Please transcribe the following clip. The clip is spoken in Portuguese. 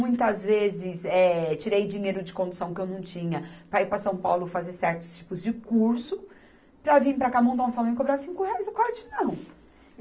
Muitas vezes, eh, tirei dinheiro de condução que eu não tinha para ir para São Paulo fazer certos tipos de curso para vir para cá montar um salão e cobrar cinco reais, o corte não.